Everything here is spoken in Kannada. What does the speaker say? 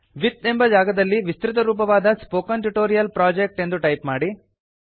ವಿತ್ ಎಂಬ ಜಾಗದಲ್ಲಿ ವಿಸ್ತೃತರೂಪವಾದ ಸ್ಪೋಕನ್ ಟ್ಯೂಟೋರಿಯಲ್ ಪ್ರೊಜೆಕ್ಟ್ ಎಂದು ಟೈಪ್ ಮಾಡಿ